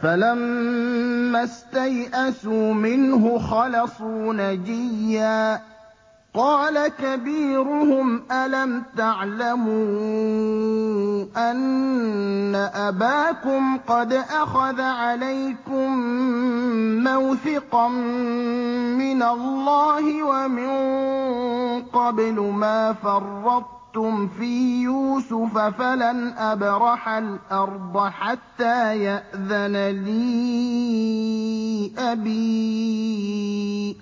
فَلَمَّا اسْتَيْأَسُوا مِنْهُ خَلَصُوا نَجِيًّا ۖ قَالَ كَبِيرُهُمْ أَلَمْ تَعْلَمُوا أَنَّ أَبَاكُمْ قَدْ أَخَذَ عَلَيْكُم مَّوْثِقًا مِّنَ اللَّهِ وَمِن قَبْلُ مَا فَرَّطتُمْ فِي يُوسُفَ ۖ فَلَنْ أَبْرَحَ الْأَرْضَ حَتَّىٰ يَأْذَنَ لِي أَبِي